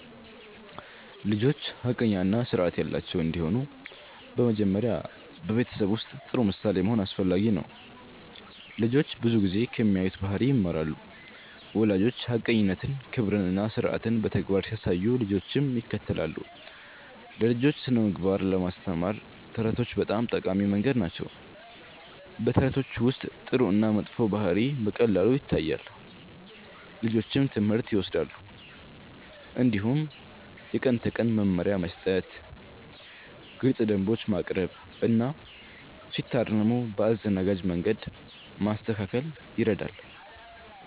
ልጆች ሐቀኛ እና ስርዓት ያላቸው እንዲሆኑ በመጀመሪያ በቤተሰብ ውስጥ ጥሩ ምሳሌ መሆን አስፈላጊ ነው። ልጆች ብዙ ጊዜ ከሚያዩት ባህሪ ይማራሉ። ወላጆች ሐቀኝነትን፣ ክብርን እና ስርዓትን በተግባር ሲያሳዩ ልጆችም ይከተላሉ። ለልጆች ስነ-ምግባር ለማስተማር ተረቶች በጣም ጠቃሚ መንገድ ናቸው። በተረቶች ውስጥ ጥሩ እና መጥፎ ባህሪ በቀላሉ ይታያል፣ ልጆችም ትምህርት ይወስዳሉ። እንዲሁም የቀን ተቀን መመሪያ መስጠት፣ ግልፅ ደንቦች ማቅረብ እና ሲታረሙ በአዘናጋጅ መንገድ ማስተካከል ይረዳል።